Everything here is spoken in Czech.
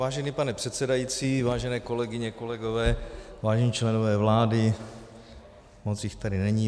Vážený pane předsedající, vážené kolegyně, kolegové, vážení členové vlády - moc jich tady není.